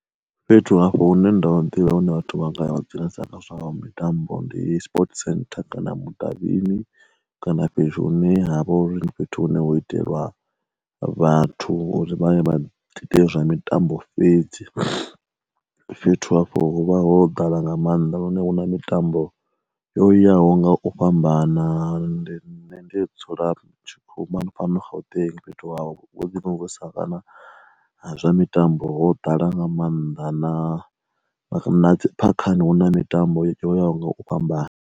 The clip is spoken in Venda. Fhethu hafho hune ndo ḓivha hune vhathu vha nga vha dzulesa nga zwa mitambo ndi sports centre, kana mudavhini kana fhethu hune ha vha uri ndi fhethu hune ho itelwa vhathu uri vha ye vha ite zwa mitambo fhedzi. Fhethu hafho hu vha ho ḓala nga maanḓa lune hu na mitambo yoyaho nga u fhambana and nṋe ndi dzula ma tshikhu fhano Gauteng fhethu havho vhuḓi kana zwa mitambo ho ḓala nga maanḓa na phakhani hu na mitambo yo yaho nga u fhambana.